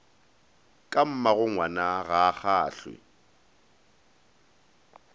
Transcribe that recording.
ka mmagongwana ga a kgahlwe